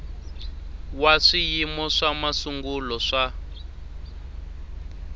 wa swiyimo swa masungulo swa